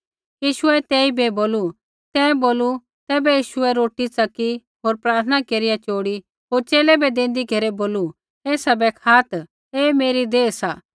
यीशुऐ तेइबै बोलू तैं बोलू तैबै यीशुऐ रोटी च़की होर प्रार्थना केरिया चोड़ी होर च़ेले बै देंदी घेरै बोलू एसा बै खात् ऐ मेरी देह सा